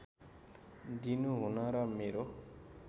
दिनु हुन र मेरो